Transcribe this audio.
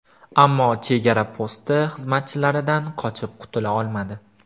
Ammo chegara posti xizmatchilaridan qochib qutula olmadi.